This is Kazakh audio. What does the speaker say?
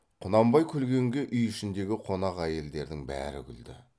құнанбай күлгенге үй ішіндегі қонақ әйелдердің бәрі күлді